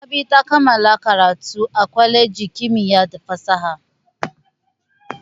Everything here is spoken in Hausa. Rabi ta kammala karatu a kwalejin kimiyya da fasaha.